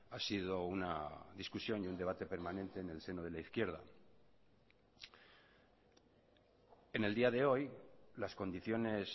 ha sido una discusión y un debate permanente en el seno de la izquierda en el día de hoy las condiciones